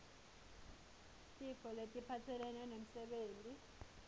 tifo letiphatselene nemsebenti